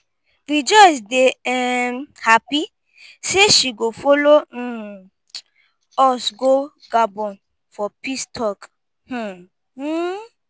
rejoice dey um happy say she go follow um us go gabon for peace talk. um